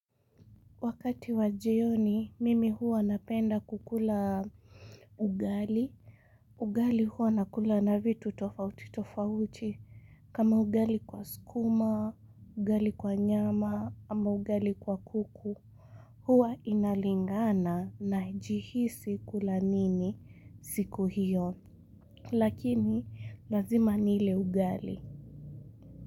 Wakati wa jioni, mimi huwa napenda kukula ugali. Ugali huwa nakula na vitu tofauti tofauti. Kama ugali kwa skuma, ugali kwa nyama, ama ugali kwa kuku. Huwa inalingana najihisi kula nini siku hiyo. Lakini, lazima nile ugali.